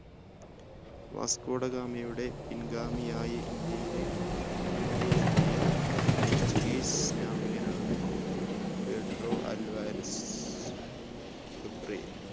Vasco da ഗാമയുടെ പിൻഗാമിയായി ഇന്ത്യയിലെ ഇന്ത്യയിൽ എത്തിയ portuguese നാവികനാണ് പെഡ്രോ അൽവാരിസ് ഗബ്രിയേൽ